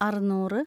അറുന്നൂറ്‌